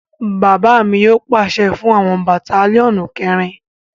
Bàbá mi yóò pàṣẹ fún àwọn Batalionu keerin